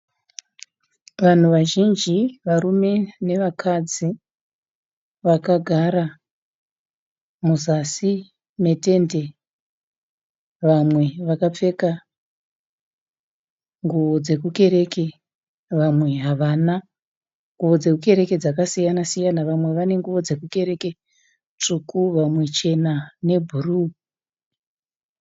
Vanhu vazhinji varume nevakadzi vakagara muzasi metende, vamwe vakapfeka nguwo dzokukereke vamwe havana. Nguwo dzokukereke dzakasiyana siyana, vamwe vane nguwo dzokukereke tsvuku vamwe chena nebhuru.